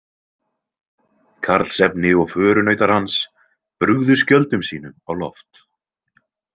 Karlsefni og förunautar hans brugðu skjöldum sínum á loft.